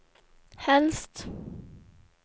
helst